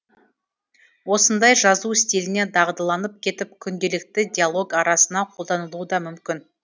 осындай жазу стиліне дағдыланып кетіп күнделікті диалог арасына қолданылуы да мүмкін